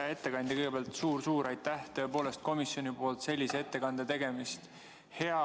Hea ettekandja, kõigepealt suur-suur aitäh komisjoni nimel sellise ettekande tegemise eest!